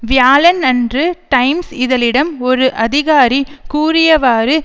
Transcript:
வியாழன் அன்று டைம்ஸ் இதழிடம் ஒரு அதிகாரி கூறியவாறு